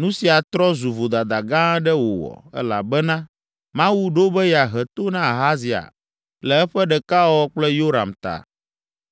Nu sia trɔ zu vodada gã aɖe wòwɔ, elabena Mawu ɖo be yeahe to na Ahazia le eƒe ɖekawɔwɔ kple Yoram ta.